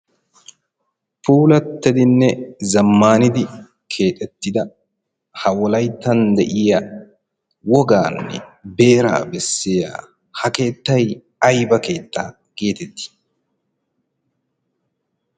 pulattedinne zammaanidi keexettida ha wolaittan de'iya wogaanne beeraa besseya ha keettay ayba keettaa geetettii?